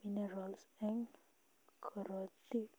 minerals eng korotik